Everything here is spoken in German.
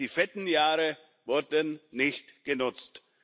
Die fetten Jahre wurden nicht genutzt.